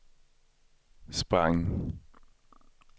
sprang